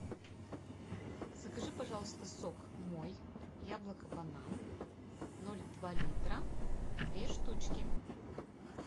закажи пожалуйста сок мой яблоко банан ноль два литра две штучки